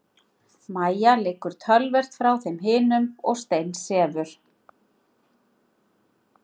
Mæja liggur töluvert frá þeim hinum og steinsefur.